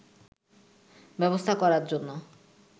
ব্যবস্থা করার জন্য